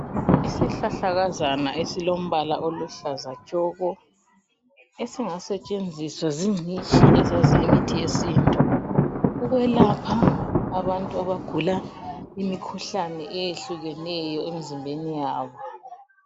Isihlahlakazana esilombala oluhlaza tshoko esingasetshenziswa zincitshi ezazi imithi yesintu, ukwelapha abantu abagula imikhuhlane eyehlukeneyo emzimbeni yabo.